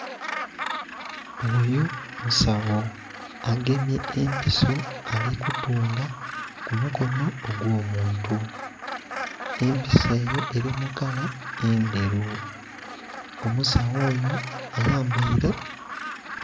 Oyo musagho agemye empiso ali ku tunga ku mukonho ogwo muntu, empiso eyo eri mu kala endheru omusagho oyo ayambaire...